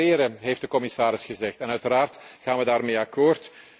komen. Accelereren heeft de commissaris gezegd en uiteraard gaan we daarmee